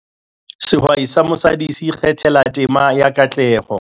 Sehwai sa mosadi se ikgathela tema ya katleho